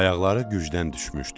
Ayaqları gücdən düşmüşdü.